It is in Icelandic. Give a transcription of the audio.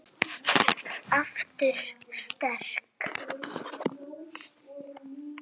Aftur sterk.